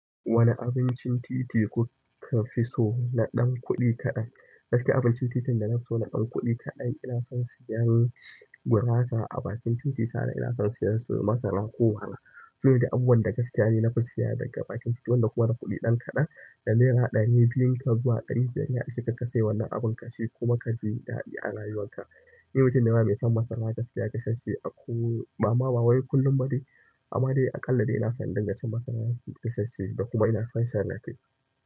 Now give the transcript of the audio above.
Wane abincin titi kuka fi so na ɗan kuɗi kaɗan? Gaskiya abincin titin da nafi so na ɗan kuɗi kaɗan ina son siyan gurasa a bakin titi sa'annan ina son siyan su masara ko awara. Sune dai abubuwan da gaskiya ni nafi siya daga bakin titi wanda kuma na kuɗi ɗan kaɗan, da naira ɗari biyun ka zuwa ɗari biyar ne sai ka sai wannan abun kaci kuma kaji daɗi a rayuwan ka. Ni mutum ne ma mai son masara gaskiya gasasshe ako, bama bawai kullum badai, amma dai aƙalla dai ina son in dinga cin masara gasasshe da kuma ina son shan daɗi.